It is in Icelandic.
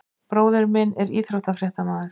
Bróðir minn er íþróttafréttamaður.